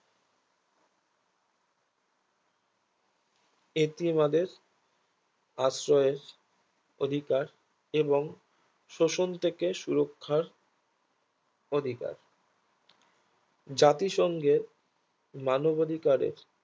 ইতি বাদেশ আশ্রয়ের অধিকার এবং শোষণ থেকে সুরক্ষার অধিকার জাতিসংঘের মানব অধিকারের